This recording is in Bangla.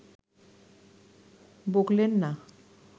বকলেন না